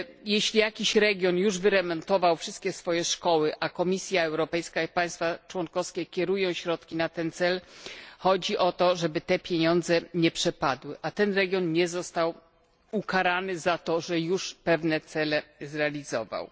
Jeśli jakiś region już wyremontował wszystkie swoje szkoły, a Komisja Europejska i państwa członkowskie kierują środki na ten cel, chodzi o to, żeby te pieniądze nie przepadły, a region ten nie został ukarany za to, że już pewne cele zrealizował.